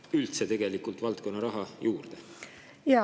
… valdkonnaraha tegelikult üldse juurde?